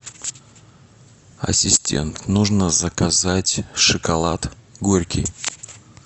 ассистент нужно заказать шоколад горький